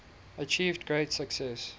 achieved great success